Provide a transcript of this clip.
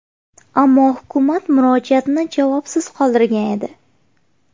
Ammo hukumat murojaatni javobsiz qoldirgan edi.